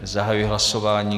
Zahajuji hlasování.